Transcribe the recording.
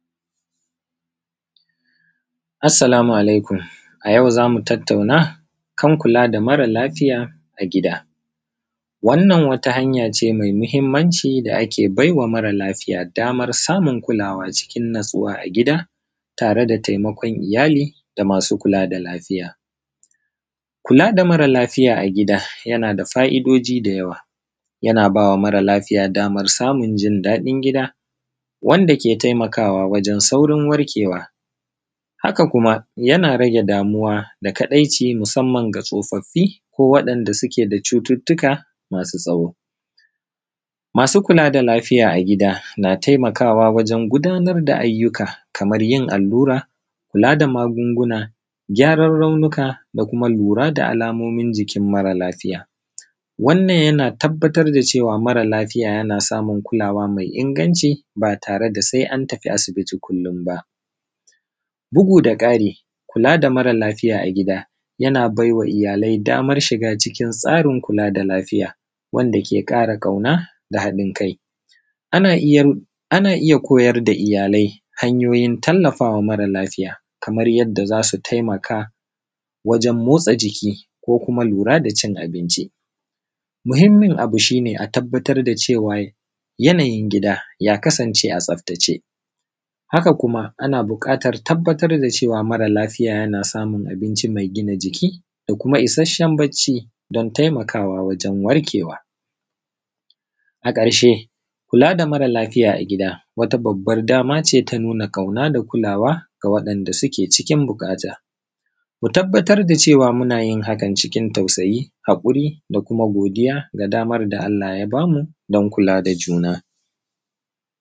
aˊssalamu alaikum ayau zamu tattauna kan kula da mara lafiya a gida wannan wata hanyace maimahimman ciˋ da ake baiwa mara lafiya dama samun kulawa cikin natsuwa a gida tare da taimakon iyya da masu kula da lafiya. Kula da mara lafiya a gida yana da fa’idoji da yawa yana bama mara lafiya damar samun jin dadin gida wanda ke taimakawa wajen saurin warke wa, haka yana rage damuwa da kadaici musaman ga tsofaffiˋ ko wadan da suke da cututtuka masu tsawo. Masu kulada lafiya a gida na taimakawa wurin gudanar da ayyu ka kamar yin allura, kula da magunguna, gyaran raunuka da lura da alamomin jiˋkin mara lafiˋy wannan yana tabbatar da cewa mara lafiˋya yana samun kulawa mai inganciˋ ba tare da sai an tafi asibˋitiˋ ba, bugu da kariˋ kula da mara lafiˋya a gida yana baiwa iyya lai dama shiga cikin tsarin kula da lafiˋya wanda ke kara kauna da hadin kai. Ana iyya koyar da iyyalai hanyoyin tallafawa mara lafiˋya kamar yanda zasu taimaka waren motsa jikiˋ, ko kuma lura da cin abinciˋ, mahimmin abu shine a tabbatar da cew yanayin gida ya kasan ce a tsaftace haka kuma ana bukatan tabbatar da cewa mara lafiˋya yana samun abinciˋ mai gina jikiˋ da kuma isashshen bacciˋ dan taimakawa wajen warke wa.a karshe kula da mara lafiya a gida wata babbar dama ce ta nuna kauna da kulawa ga wanda suke ciˋkin bukata, mu tabbatar da cewan munayin hakan ciˋkin tausayiˋ da hakuri da kuma godiʤa da damar da Allah ya bamu dan kula da juna